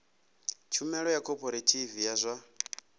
tshumelo ya khophorethivi ya zwa